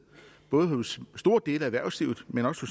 både hos store dele af erhvervslivet men også